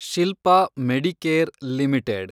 Shilpa Medicare limited